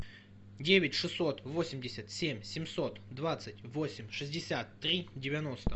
девять шестьсот восемьдесят семь семьсот двадцать восемь шестьдесят три девяносто